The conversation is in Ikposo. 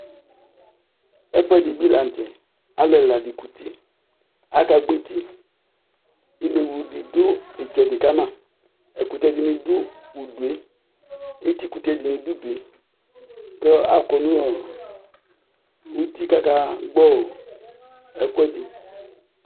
ɛfʊɛdɩ bɩ lanʊtɛ, alʊ ɛla dɩ ezikuti, aka gbɔ eti, inewlu dɩ dʊ itsɛdɩ kama etikʊtɛ dɩnɩ dʊ udu yɛ, kʊ akɔ nʊ uti kʊ aka gbɔ ɛkʊɛdɩ